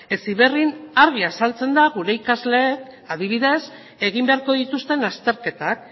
heziberrin argi azaltzen da gure ikasleek adibidez egin beharko dituzten azterketak